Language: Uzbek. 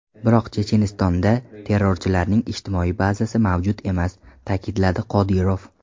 Biroq Chechenistonda terrorchilarning ijtimoiy bazasi mavjud emas”, ta’kidladi Qodirov.